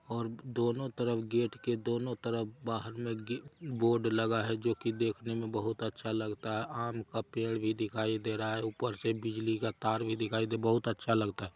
और दोनों तरफ गेट के दोनों तरफ बाहर मे गे--बोर्ड लगा है जो कि देखने मे बहुत अच्छा लगता है आम का पेड़ भी दिखाई दे रहा है ऊपर से बिजली का तार भी दिखाई दे--बहुत अच्छा लगता है।